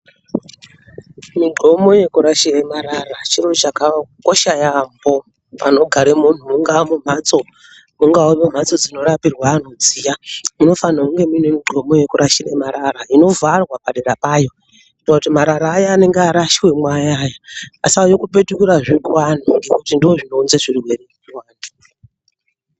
Migomo yekurashire marara chinhu chakakosha yaamho panogare munhu mungaa mumhatso, mungaa mumhatso dzinorapirwa anhu dziya munofanhwe kunge muine migomo yekurashire marara, inovharwa padera payo, kuti marara aya anonga arashwemo ayani, asauye kupetukirazve kuanhu, ngekuti ndozvinounze zvirwere kuantu.